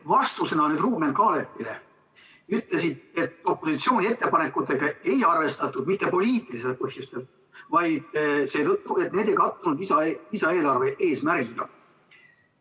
Vastusena Ruuben Kaalepile ütlesid, et opositsiooni ettepanekuid ei jäetud arvestamata mitte poliitilistel põhjustel, vaid seetõttu, et need ei kattunud lisaeelarve eesmärgiga.